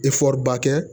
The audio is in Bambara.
ba kɛ